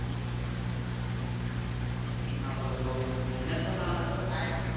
એમાં બઉ મહેનત નો કામ હતો?